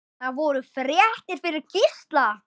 Það voru fréttir fyrir Gísla.